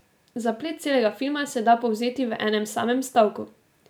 Zaplet celega filma se da povzeti v enem samem stavku.